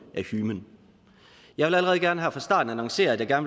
af hymen jeg vil allerede gerne her fra starten annoncere at jeg